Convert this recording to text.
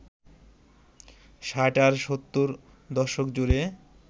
ষাট আর সত্তর দশক জুড়ে